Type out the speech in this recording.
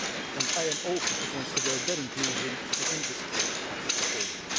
and I am open to considering their inclusion within the scope of the proposal.